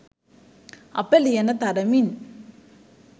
අප ලියන තරමින්